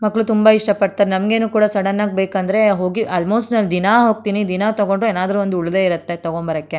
ಮಕ್ಕಳು ತುಂಬಾ ಇಷ್ಟ ಪಡ್ತಾರೆ ನಂಗೇನು ಕೂಡ ಸಡನ್ ಆಗಿ ಬೇಕಂದ್ರೆ ಹೋಗಿ ಆಲ್ಮೋಸ್ಟ್ ನಾನು ದಿನ ಹೋಗ್ತೀನಿ ದಿನಾ ತಗೊಂಡ್ರು ಏನಾದರು ಒಂದು ಉಳಿದೆ ಇರತ್ತೆ ತಗೊಂಬರಕ್ಕೆ.